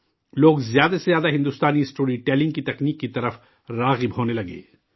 لوگ، زیادہ سے زیادہ ہندوستانی اسٹوری ٹیلنگ کی مہارت کی طرف متوجہ ہونے لگے